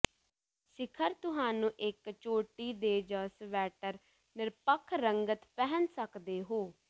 ਸਿਖਰ ਤੁਹਾਨੂੰ ਇੱਕ ਚੋਟੀ ਦੇ ਜ ਸਵੈਟਰ ਨਿਰਪੱਖ ਰੰਗਤ ਪਹਿਨ ਸਕਦੇ ਹੋ